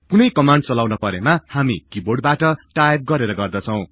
कुनै कमान्ड चलाउन परेमा हामी किबोर्डबाट टाईप गरेर गर्दछौ